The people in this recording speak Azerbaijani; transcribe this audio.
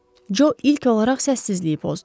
Co ilk olaraq səssizliyi pozdu.